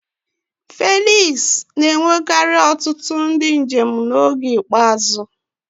Felix na-enwekarị ọtụtụ ndị njem n'oge ikpeazụ.